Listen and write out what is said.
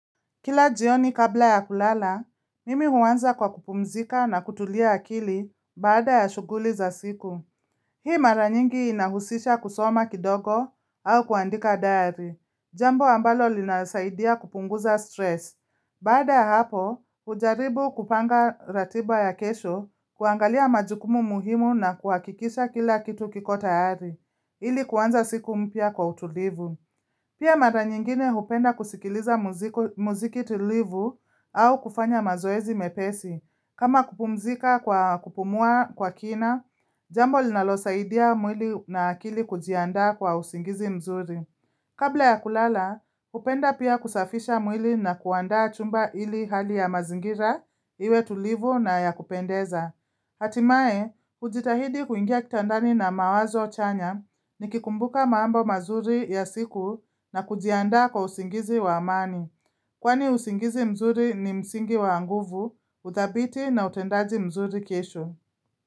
Kila jioni kabla ya kulala, mimi huanza kwa kupumzika na kutulia akili baada ya shughuli za siku. Hii mara nyingi inahusisha kusoma kidogo au kuandika dayari. Jambo ambalo linasaidia kupunguza stress. Baada ya hapo, ujaribu kupanga ratiba ya kesho, kuangalia majukumu muhimu na kuakikisha kila kitu kiko tayari, ili kuanza siku mpya kwa utulivu. Pia mara nyingine upenda kusikiliza muziki tulivu au kufanya mazoezi mepesi. Kama kupumzika kwa kupumua kwa kina, jambo linalo saidia mwili na akili kujiandaa kwa usingizi mzuri. Kabla ya kulala, upenda pia kusafisha mwili na kuandaa chumba ili hali ya mazingira, iwe tulivu na ya kupendeza. Hatimaye, ujitahidi kuingia kitandani na mawazo chanya ni kikumbuka maambo mazuri ya siku na kujianda kwa usingizi wa amani. Kwani usingizi mzuri ni msingi wa nguvu, uthabiti na utendaji mzuri kesho.